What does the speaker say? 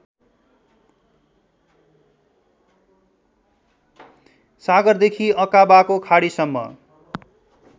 सागरदेखि अकाबाको खाडीसम्म